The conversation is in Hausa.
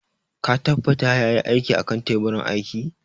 Ka tabbata ya yi aikin a kan teburin aiki?